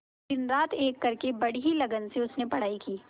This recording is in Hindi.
दिनरात एक करके बड़ी ही लगन से उसने पढ़ाई की